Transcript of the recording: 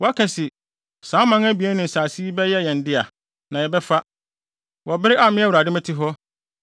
“ ‘Woaka se, “Saa aman abien ne nsase yi bɛyɛ yɛn dea, na yɛbɛfa,” wɔ bere a me Awurade mete hɔ;